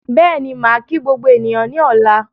Bẹ́ẹ̀ni, màá kí gbogbo ènìyàn ní ọ̀la